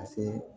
Ka se